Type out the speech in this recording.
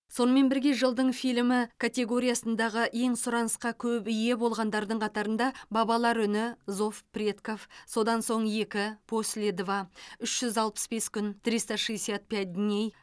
сонымен бірге жылдың фильмі категориясындағы ең сұранысқа көп ие болғандардың қатарында бабалар үні зов предков содан соң екі после два үш жүз алпыс бес күн триста шестьдесят пять дней